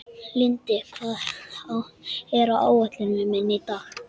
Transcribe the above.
Lindi, hvað er á áætluninni minni í dag?